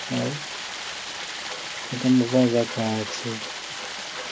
এই একটা মোবাইল রাখা আছে ।